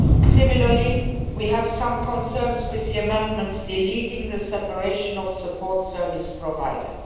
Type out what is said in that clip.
Similarly, we have some concerns with the amendments deleting the separation of the support service provider.